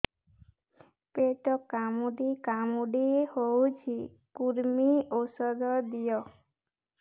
ପେଟ କାମୁଡି କାମୁଡି ହଉଚି କୂର୍ମୀ ଔଷଧ ଦିଅ